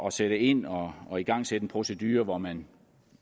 at sætte ind og og igangsætte en procedure hvor man